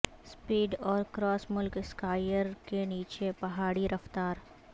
speed اور cross ملک اسکائائر کے نیچے پہاڑی رفتار